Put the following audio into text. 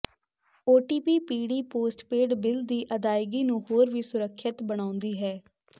OTP ਪੀੜ੍ਹੀ postpaid bill ਦੀ ਅਦਾਇਗੀ ਨੂੰ ਹੋਰ ਵੀ ਸੁਰੱਖਿਅਤ ਬਣਾਉਂਦੀ ਹੈ